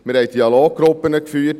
Wir haben Dialoggruppen geführt.